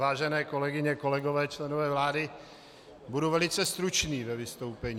Vážené kolegyně, kolegové, členové vlády, budu velice stručný ve vystoupení.